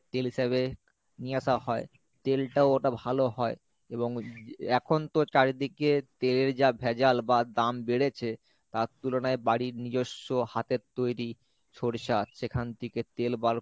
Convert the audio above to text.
তেল হিসাবে নিয়ে আসা হয় তেলটাও ওটা ভালো হয় এবং এখন তো চারিদিকে তেলের যা ভেজাল বা দাম বেড়েছে তার তুলনায় বাড়ির নিজস্য হাতের তৈরী সরিষা সেখান থেকে তেল বার